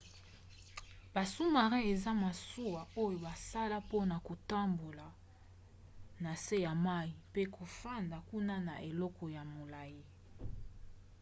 ba sous-marins eza masuwa oyo basala mpona kotambola na se ya mai pe kofanda kuna na eleko ya molai